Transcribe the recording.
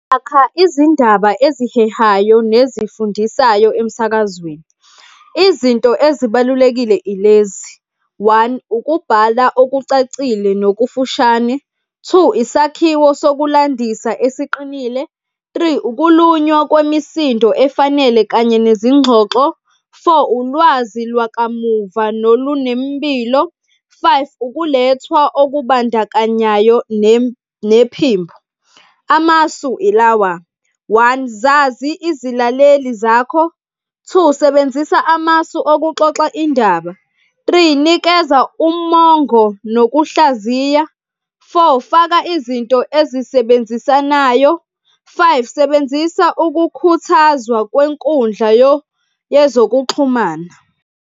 izindaba ezihehayo nezifundisayo emsakazweni. Izinto ezibalulekile ilezi, one, ukubhala okucacile nokufushane. Two, isakhiwo sokulandisa esiqinile. Three, ukulunywa kwemisindo, efanele kanye nezingxoxo. Four, ulwazi lakamuva nolunemmbilo. Five, ukulethwa okubandakanyayo nephimbo. Amasu ilawa, one, zazi izilaleli zakho. Two, sebenzisa amasu okuxoxa indaba. Three, nikeza umongo nokuhlaziya. Four, faka izinto esisebenzisanayo. Five, sebenzisa ukukhuthazwa kwenkundla yezokuxhumana.